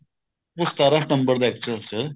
ਉਹ ਸਤਾਰਾਂ ਸਤੰਬਰ ਦਾ ਹੈ actual ਚ